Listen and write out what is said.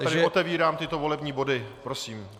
Tedy otevírám tyto volební body, prosím.